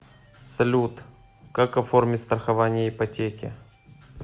салют как оформить страхование ипотеки